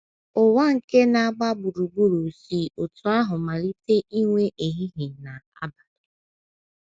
Ụwa nke na - agba gburugburu si otú ahụ malite inwe ehihie na abalị.